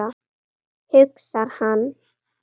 hugsar hann.